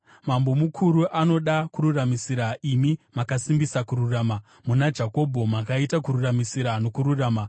Mambo mukuru, anoda kururamisira, imi makasimbisa kururama; muna Jakobho makaita kururamisira nokururama.